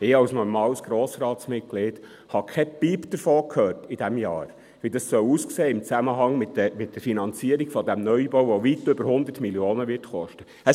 Ich als normales Grossratsmitglied habe in diesem Jahr keinen Piep davon gehört, wie es im Zusammenhang mit der Finanzierung dieses Neubaus aussehen soll, der weit über 100 Mio. Franken kosten wird.